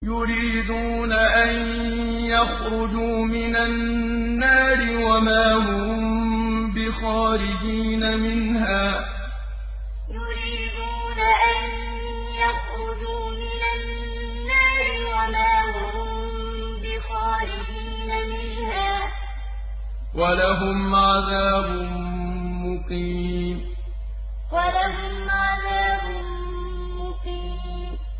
يُرِيدُونَ أَن يَخْرُجُوا مِنَ النَّارِ وَمَا هُم بِخَارِجِينَ مِنْهَا ۖ وَلَهُمْ عَذَابٌ مُّقِيمٌ يُرِيدُونَ أَن يَخْرُجُوا مِنَ النَّارِ وَمَا هُم بِخَارِجِينَ مِنْهَا ۖ وَلَهُمْ عَذَابٌ مُّقِيمٌ